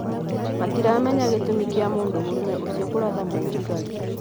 Matiramenya gĩtũmi kia mũndũrũme ũcio kũratha mũthigari